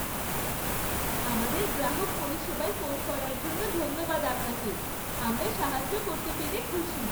আমাদের গ্রাহক পরিষেবায় ফোন করার জন্য ধন্যবাদ আপনাকে। আমরা সাহায্য করতে পেরে খুশি।